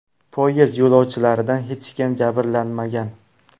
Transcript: Poyezd yo‘lovchilaridan hech kim jabrlanmagan.